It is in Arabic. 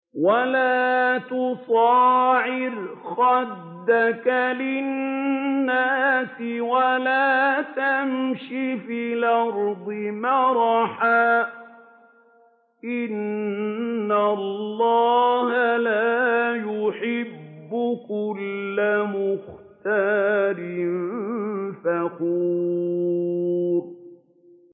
وَلَا تُصَعِّرْ خَدَّكَ لِلنَّاسِ وَلَا تَمْشِ فِي الْأَرْضِ مَرَحًا ۖ إِنَّ اللَّهَ لَا يُحِبُّ كُلَّ مُخْتَالٍ فَخُورٍ